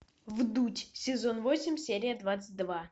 вдуть сезон восемь серия двадцать два